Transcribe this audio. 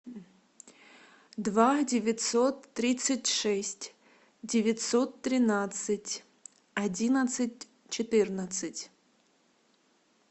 два девятьсот тридцать шесть девятьсот тринадцать одиннадцать четырнадцать